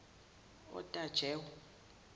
otajewo